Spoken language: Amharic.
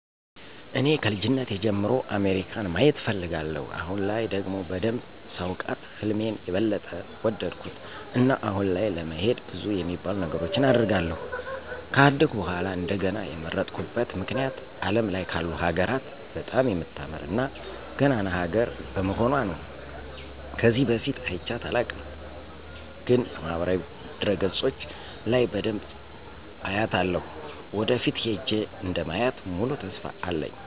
እኔ ከልጅነቴ ጀምሮ አሜሪካን ማየት እፈልጋለሁ። አሁን ላይ ደግሞ በደንብ ሳውቃት ህልሜን የበለጠ ወደድኩት። እና አሁን ላይ ለመሄድ ብዙ የሚባሉ ነገሮችን አደርጋለሁ። ከአደኩ በኃላ እንደገና የመረጥኩበት ምክንያት አለም ላይ ካሉ ሀገራት በጣም የምታምር እና ገናና ሀገር በመሆኑአ ነው። ከዚህ በፊት አይቻት አላውቅም፤ ግን በማህበራዊ ድረገጾች ለይ በደንብ አያታለሁ። ወደፊት ሄጄ እንደማያ ሙሉ ተስፋ አለኝ።